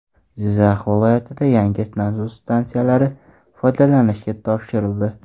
Jizzax viloyatida yangi nasos stansiyalari foydalanishga topshirildi.